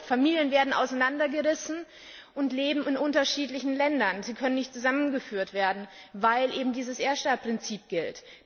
Familien werden auseinandergerissen und leben in unterschiedlichen Ländern. Sie können nicht zusammengeführt werden, weil eben dieses Erststaatprinzip gilt.